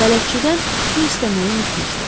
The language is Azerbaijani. Bələdçidən su istəməyi unutmuşdu.